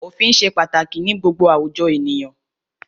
Òfin ṣe pàtàkì ní gbogbo àwùjọ ènìyàn.